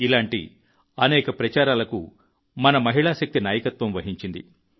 ఇలాంటి అనేక ప్రచారాలకు మన మహిళా శక్తి నాయకత్వం వహించింది